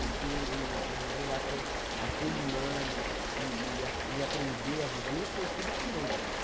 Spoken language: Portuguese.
Porque, em em relação a ser humano e e ap e aprender a viver, foi tudo com ele.